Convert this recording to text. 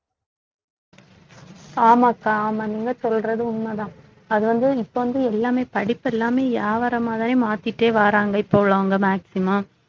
ஆமாக்கா ஆமா நீங்க சொல்றது உண்மைதான் அது வந்து இப்ப வந்து எல்லாமே படிப்பு எல்லாமே வியாபாரமாதானே மாத்திட்டே வர்றாங்க இப்ப உள்ளவங்க maximum